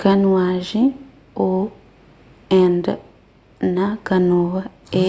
kanuajen ô: and na kanoa é